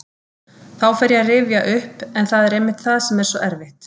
Þá fer ég að rifja upp en það er einmitt það sem er svo erfitt.